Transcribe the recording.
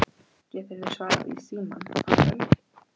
Álfey, hefur þú prófað nýja leikinn?